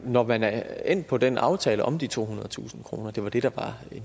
når man er endt på den aftale om de tohundredetusind kroner det var det der var